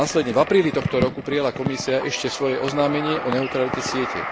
V apríli tohto roku prijala Komisia ešte svoje oznámenie o neutralite siete.